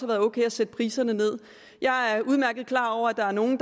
været ok at sætte priserne nederst jeg er udmærket klar over at der er nogle